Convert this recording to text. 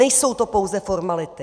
Nejsou to pouze formality!